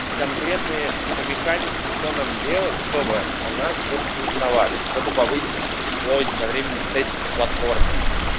конкретные какие-то механики что нам делать чтобы о нас больше узнавали чтобы повысить число единовременных сессий на платформе